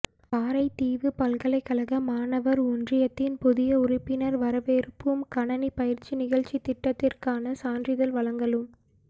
காரைதீவு பல்கலைக்கழக மாணவர் ஒன்றியத்தின் புதிய உறுப்பினர் வரவேற்பும் கணணி பயிற்சி நிகழ்ச்சித்திட்டத்திற்கான சான்றிதழ் வழங்கலும்